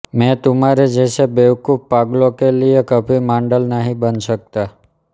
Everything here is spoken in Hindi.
मैं तुम्हारे जैसे बेवकूफ़ पागलों के लिए कभी माडल नहीं बन सकता